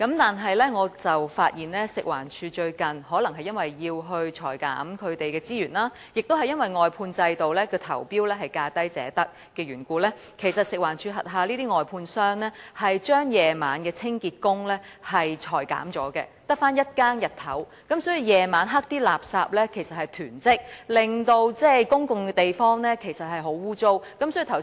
但是，我發現最近可能因為食環署要削減資源，亦因為外判制度的投標是價低者得，食環署轄下的外判商將晚上的清潔工裁減，只剩日間一更，導致晚上垃圾囤積，公共地方相當骯髒。